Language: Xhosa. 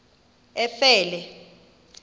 efele